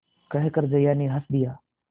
कहकर जया ने हँस दिया